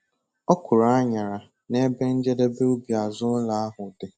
Ọ kụrụ aṅara n'ebe njedebe ubi azụ ụlọ ahụ dị.